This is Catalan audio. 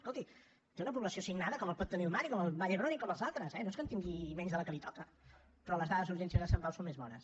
escolti té una població assignada com la pot tenir el mar i com el vall d’hebron i com els altres eh no és que en tingui menys de la que li toca però les dades d’urgències de sant pau són més bones